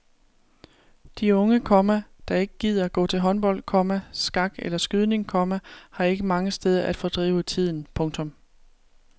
De unge, komma der ikke gider gå til håndbold, komma skak eller skydning, komma har ikke mange steder at fordrive tiden. punktum